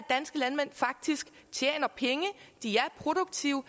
danske landmænd faktisk tjener penge de er produktive